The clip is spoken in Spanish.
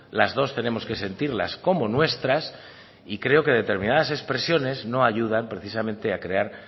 las dos tenemos que sentirlas como nuestras y creo que determinadas expresiones no ayudan precisamente a crear